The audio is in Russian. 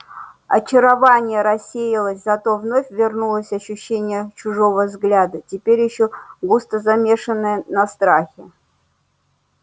очарование рассеялось зато вновь вернулось ощущение чужого взгляда теперь ещё густо замешенное на страхе